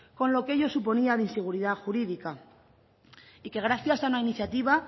con lo que ello suponía de inseguridad jurídica y que gracias a una iniciativa